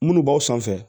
Munnu b'aw sanfɛ